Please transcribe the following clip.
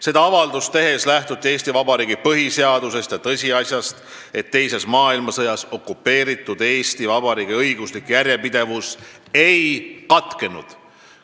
Seda avaldust tehes lähtuti Eesti Vabariigi põhiseadusest ja tõsiasjast, et teises maailmasõjas okupeeritud Eesti Vabariigi õiguslik järjepidevus ei katkenud.